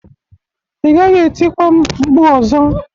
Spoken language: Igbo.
Ị gaghị etikwa m mkpu ọzọ!